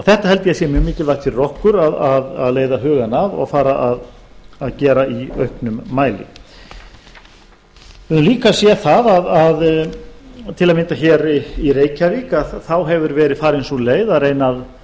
þetta held ég að sé mjög mikilvægt fyrir okkur að leiða hugann að og fara að gera í auknum mæli við höfum líka séð það að til að mynda í reykjavík hefur verið farin sú leið að